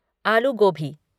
आलू गोबी